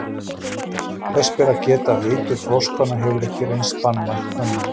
Þess ber að geta að eitur froskanna hefur ekki reynst banvænt mönnum.